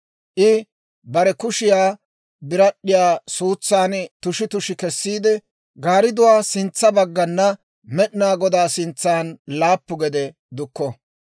I bare kushiyaa birad'd'iyaa suutsan tushi tushi kessiide, gaaridduwaa sintsa baggana Med'inaa Godaa sintsan laappu gede dukko.